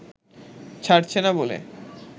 ছাড়ছে না বলে